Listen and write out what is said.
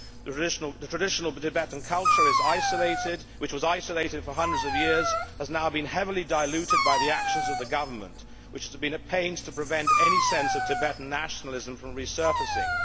The traditional Tibetan culture, which was isolated for hundreds of years, has now been heavily diluted by the actions of the Government, which has been at pains to prevent any sense of Tibetan nationalism from resurfacing.